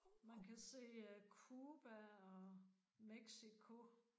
Man kan se Cuba og Mexico